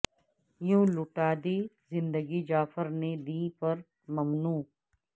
یوں لٹا دی زندگی جعفر نے دیں پر مومنو